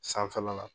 Sanfɛla la